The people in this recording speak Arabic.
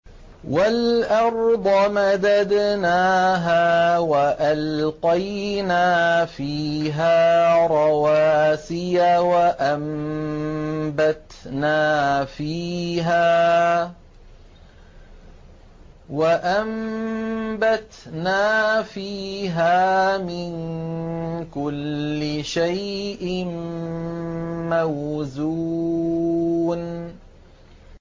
وَالْأَرْضَ مَدَدْنَاهَا وَأَلْقَيْنَا فِيهَا رَوَاسِيَ وَأَنبَتْنَا فِيهَا مِن كُلِّ شَيْءٍ مَّوْزُونٍ